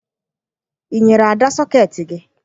Ị nyere Ada sọkeetị gị?